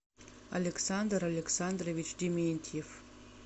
александр александрович дементьев